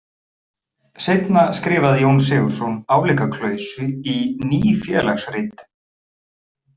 Seinna skrifaði Jón Sigurðsson álíka klausu í Ný félagsrit.